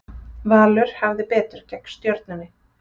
Valur hafði betur gegn Stjörnunni